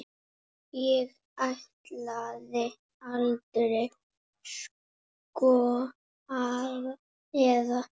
Ég ætlaði aldrei, sko, eða.